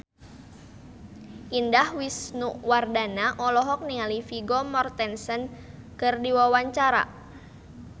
Indah Wisnuwardana olohok ningali Vigo Mortensen keur diwawancara